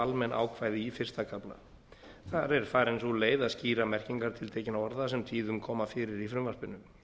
almenn ákvæði í fyrsta kafla þar er farin sú leið að skýra merkingar tiltekinna orða sem tíðum koma fyrir í frumvarpinu